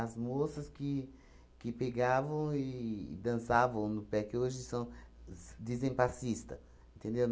moças que que pegavam e dançavam no pé, que hoje são as dizem passista, entendeu?